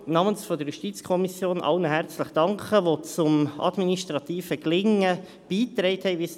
Namens der JuKo möchte ich bei dieser Gelegenheit allen herzlich danken, die zum administrativen Gelingen beigetragen haben.